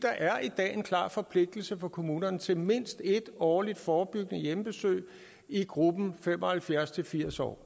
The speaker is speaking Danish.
er i dag en klar forpligtelse for kommunerne til mindst et årligt forebyggende hjemmebesøg i gruppen fem og halvfjerds til firs år